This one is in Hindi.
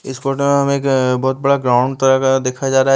इस फोटो में हमें एक अ बहुत बड़ा ग्राउंड तरह का देखा जा रहा है।